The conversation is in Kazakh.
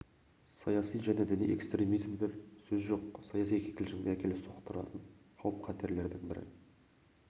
саяси және діни экстремизмдер сөз жоқ саяси кикілжіңге әкеліп соқтыратын қауіп-қатерлердің бірі